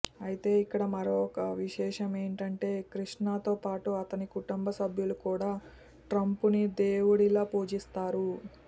అయితే ఇక్కడ మరొక విశేషం ఏంటంటే కృష్ణతో పాటు అతని కుటుంబ సభ్యులు కూడా ట్రంప్ను దేవుడిలా పూజిస్తారు